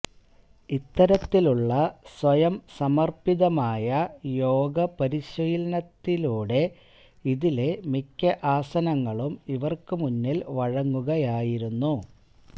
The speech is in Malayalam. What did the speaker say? ഇത്തരത്തിലുള്ള സ്വയം സമർപ്പിതമായ യോഗ പരിശീലനത്തിലൂടെ ഇതിലെ മിക്ക ആസനങ്ങളും ഇവർക്ക് മുന്നിൽ വഴങ്ങുകയായിരുന്നു